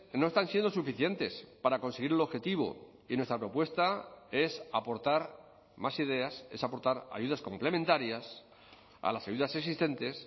no están siendo suficientes para conseguir el objetivo y nuestra propuesta es aportar más ideas es aportar ayudas complementarias a las ayudas existentes